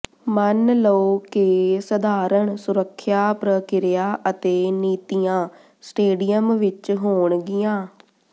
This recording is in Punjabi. ਮੰਨ ਲਓ ਕਿ ਸਧਾਰਣ ਸੁਰੱਖਿਆ ਪ੍ਰਕਿਰਿਆ ਅਤੇ ਨੀਤੀਆਂ ਸਟੇਡੀਅਮ ਵਿਚ ਹੋਣਗੀਆਂ